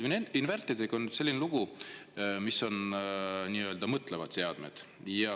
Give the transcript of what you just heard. Vaat inverteritega on nüüd selline lugu, et need on nii-öelda mõtlevad seadmed.